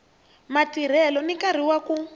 matirhelo na nkarhi wa ku